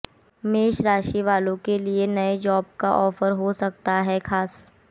मेष राशि वालों के लिए नए जॉब का ऑफर हो सकता है खास